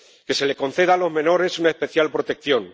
que se les conceda a los menores una especial protección